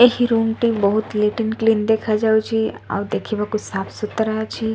ଏହି ରୁମ ଟି ବହୁତ ନିଟ ଆଣ୍ଡ କ୍ଲିନ ଦେଖାଯାଉଚି ଆଉ ଦେଖିବାକୁ ସାଫ ସୁତରା ଅଛି।